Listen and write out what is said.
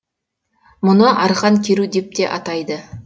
мұны арқан керу деп те атайды